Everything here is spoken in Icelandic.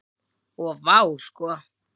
Og vá sko.